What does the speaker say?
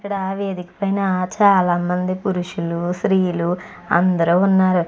ఇక్కడ వేదిక మీద చాల మంది పురుషులు స్రీలు అందరూ ఉన్నారు.